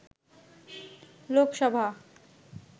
Lok Sabha